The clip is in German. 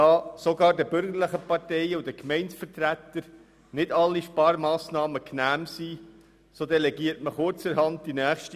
Da sogar den bürgerlichen Parteien und den Gemeindevertretern nicht alle Sparmassnahmen genehm sind, delegiert man sie kurzerhand zurück an den Regierungsrat.